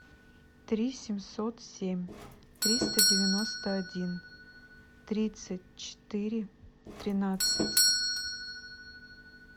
три семьсот семь триста девяносто один тридцать четыре тринадцать